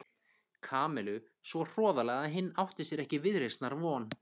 Kamillu svo hroðalega að hinn átti sér ekki viðreisnar von.